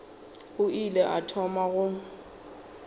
o ile a thoma go